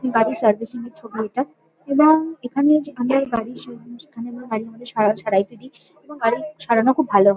গাড়ি সার্ভিসিং এর ছবি এটা এবং এখানে যে আমরা গাড়ির শোরুম সেখানে আমরা গাড়ি আমাদের সারা সারাইতে দিই। এবং গাড়ি সারানো খুব ভালো হ--